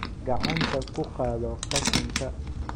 Gacanta ku qaado qashinka